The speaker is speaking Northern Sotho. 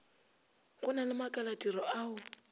go na le makalatiro ao